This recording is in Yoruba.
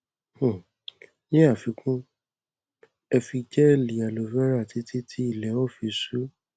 um ní àfikún ẹ fi gẹẹli aloe vera títí tí ilẹ ó fi ṣú